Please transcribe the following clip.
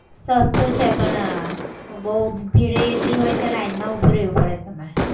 સસ્તું છે પણ બહુ ભીડે એટલી હોય છે. લાઈનમાં ઉભા રહેવું પડે તમારે